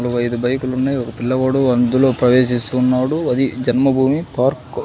మరో ఐదు బైకులు ఉన్నాయి ఒక పిల్లవాడు అందులో ప్రవేశిస్తున్నాడు అది జన్మభూమి పార్క్ .